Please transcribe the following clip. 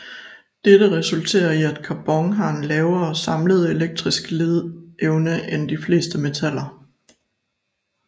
Dette resulterer i at carbon har en lavere samlet elektrisk ledeevne end de fleste metaller